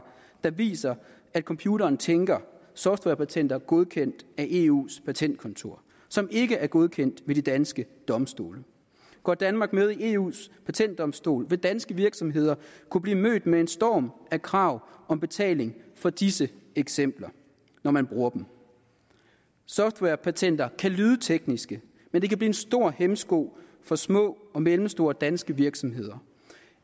der viser at computeren tænker softwarepatenter godkendt af eus patentkontor som ikke er godkendt ved de danske domstole går danmark med i eus patentdomstol vil danske virksomheder kunne blive mødt med en storm af krav om betaling for disse eksempler når man bruger dem softwarepatenter kan lyde teknisk men det kan blive en stor hæmsko for små og mellemstore danske virksomheder